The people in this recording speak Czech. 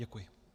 Děkuji.